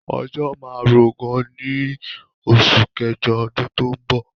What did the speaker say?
Òjò máa ń rọ gan ní oṣù kẹjọ ọdún tó ń bọ̀.